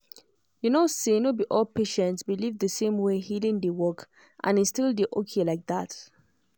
you know say no be all patients believe the same way healing dey work and e still dey okay like that.